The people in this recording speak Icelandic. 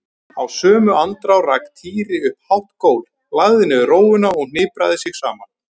Í sömu andrá rak Týri upp hátt gól, lagði niður rófuna og hnipraði sig saman.